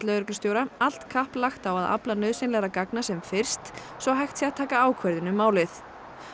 lögreglustjóra allt kapp lagt á að afla nauðsynlegra gagna sem fyrst svo hægt sé að taka ákvörðun um málið